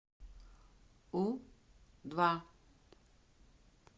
у два